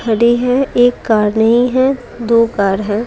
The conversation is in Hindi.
खड़ी है एक कार नहीं है दो कार है।